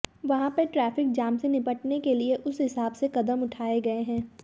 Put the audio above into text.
वहां पर traffic jam से निपटने के लिए उस हिसाब से कदम उठाए गए हैं